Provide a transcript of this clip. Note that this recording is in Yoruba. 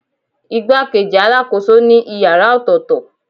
Igbakeji alakoso ni ìyára ọtọtọ.